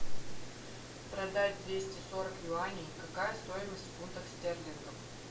продать двести сорок юаней какая стоимость в фунтах стерлингов